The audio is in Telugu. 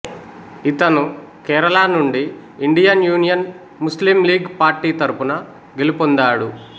ఇతను కేరళ నుండి Indian Union Muslim League party తరఫున గెలుపొందాడు